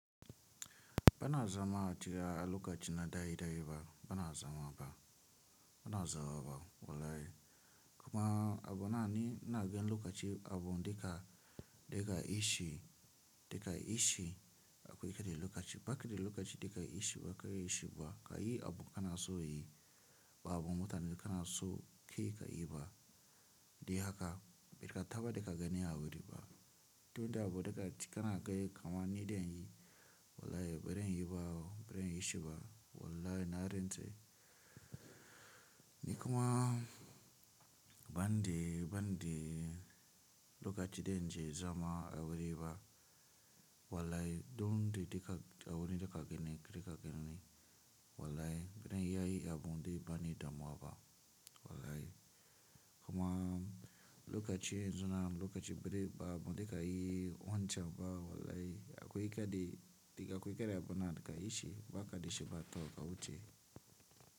Bana zama a tiya a lokaci na daidai ba bana zama ba bana zama ba wallahi kuma abu na ni na gani lokaci abu duka dika ishi dika ishi akwai karya lokaci baka da lokaci dika ishi baka ishi ba ka yi abu kana so yi ba abun mutane kana so kai ka yi ba dai haka beka taɓa daka gani a wuri ba tunda abu dikaci kana gani kama ni dai yi wallahi baren yi ba baren yi oo baren yi shi ba wallahi na rintse nikuma bani de bani de lokaci dan je zama a wuri ba wallahi don de dika a wuri dika gani dika gani wallahi baran iya yi abunde bani damuwa ba wallahi kuma lokaci yanzu na lokaci bera ba abu dika yi wancan ba wallahi akwai kade dik akwai kada abu na di kayishi ba ka dishe ba to ka wuce.